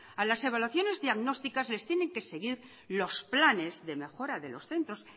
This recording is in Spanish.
a las evaluaciones diagnósticas les tienen que seguir los planes de mejora de los centros